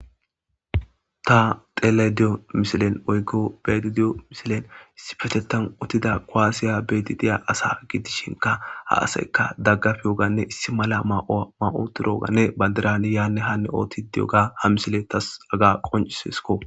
ta tele diyo misilen oykko betidiyo misilen issi fetetan uttida koasiya beti diya asa gidishinka ha asaykka daggaf yoganne issi mala ma7oturooganne ba dirani yaanne hanne oothti di7oga ha misile tas aga qoncisesko